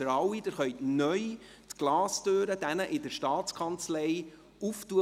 Neu können Sie mit Ihren Badges die Glastüre zur Staatskanzlei öffnen.